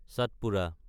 চটপুৰা